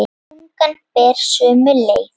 Tungan fer sömu leið.